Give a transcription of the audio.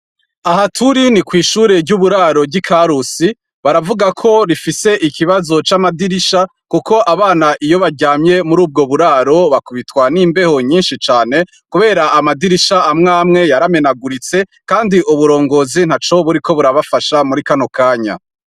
Aha turi ni kw'ishuri ry'uburaro ry'i Karusi .Baravuga ko rifise ikibazo c'amadirisha, kuko abana iyo baryamye mur'ubwo buraro, bakubitwa n'imbeho nyinshi cane ,kubera amadirisha amwe amwe yaramenaguritse, kandi uburongozi ntaco buriko burabafasha muri kano kanya.